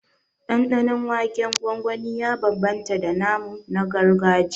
Ɗanɗanon waken gwangwani ya bambamta da namu na gargajiya